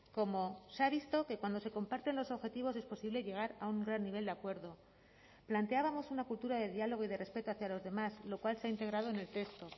como se ha visto que cuando se comparten los objetivos es posible llegar a un gran nivel de acuerdo planteábamos una cultura de diálogo y de respeto hacia los demás lo cual se ha integrado en el texto